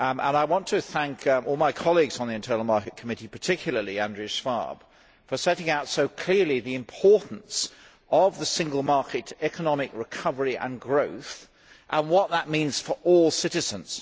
I want to thank all of my colleagues on the Internal Market Committee particularly Andreas Schwab for setting out so clearly the importance of the Single Market economic recovery and growth and what that means for all citizens.